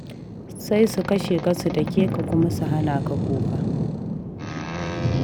Sai su kashe ka, su dake ka, kuma su hana ka kuka.